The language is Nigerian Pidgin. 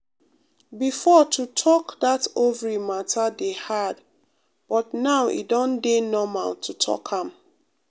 before to talk that ovary matter dey hard but now e don dey normal to talk am.